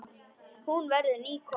Hún verður ný kona.